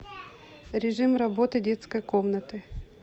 режим работы детской комнаты